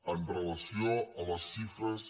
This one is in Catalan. amb relació a les xifres